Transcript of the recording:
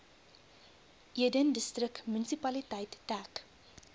eden distriksmunisipaliteit dek